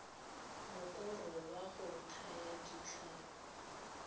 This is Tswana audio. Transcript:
mokoro wa go thaya ditlhapi